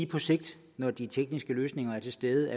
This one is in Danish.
på sigt når de tekniske løsninger er til stede